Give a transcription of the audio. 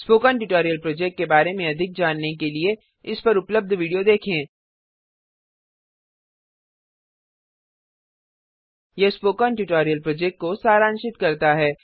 spoken tutorial project के बारे में अधिक जानने के लिए इस पर उपलब्ध वीडियो देखें httpspoken tutorialorgWhat is a Spoken Tutorial यह स्पोकन ट्यूटोरियल प्रोजेक्ट को सारांशित करता है